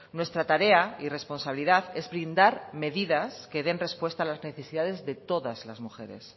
nuestra tarea y responsabilidad es blindar medidas que den respuesta a las necesidades de todas las mujeres